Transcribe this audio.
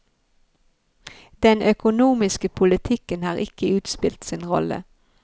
Den økonomiske politikken har ikke utspilt sin rolle.